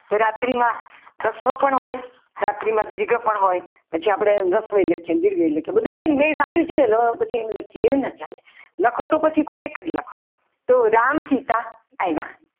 તો રાત્રી મા રસ્વ પણ હોય રાત્રિમાં દીર્ઘ પણ હોય પછી આપણે એને રસ્વ લખીએ દીર્ઘઈ લખીએ બધું બેન બધું સાચું જ છે ને એમ લખીએ એમ ના ચાલે લખો તો પછી કોઈ એક જ લખો તો રામચિતા આવ્યા.